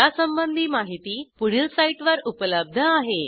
यासंबंधी माहिती पुढील साईटवर उपलब्ध आहे